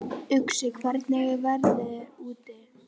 Uxi, hvernig er veðrið úti?